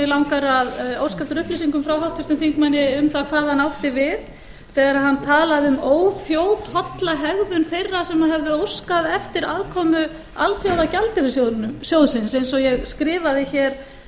mig langar að óska eftir upplýsingum frá háttvirtum þingmanni um það hvað hann átti við þegar hann talaði um óþjóðholla hegðun þeirra sem höfðu óskað eftir aðkomu alþjóðagjaldeyrissjóðsins eins og ég skrifaði hér